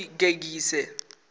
ḽigegise